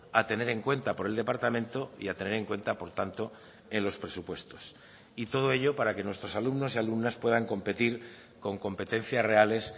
a tener en cuenta por el departamento y a tener en cuenta por tanto en los presupuestos y todo ello para que nuestros alumnos y alumnas puedan competir con competencias reales